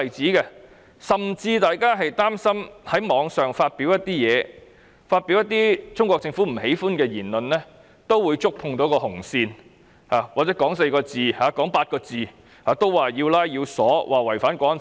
市民甚至擔心在網絡上發表一些貼文或一些中國政府不喜的言論會觸碰到紅線，或者說某4個或8個字會被拘捕，被指違犯《港區國安法》。